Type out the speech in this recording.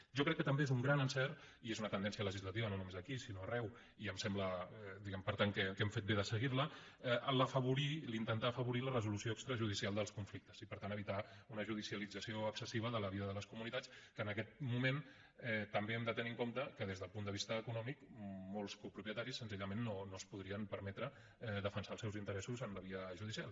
jo crec que també és un gran encert i és una tendència legislativa no només aquí sinó arreu i em sembla per tant que hem fet bé de seguir la afavorir intentar afavorir la resolució extrajudicial dels conflictes i per tant evitar una judicialització excessiva de la vida de les comunitats que en aquest moment també hem de tenir en compte que des del punt de vista econòmic molts copropietaris senzillament no es podrien permetre defensar els seus interessos en la via judicial